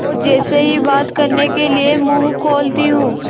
और जैसे ही बात करने के लिए मुँह खोलती हूँ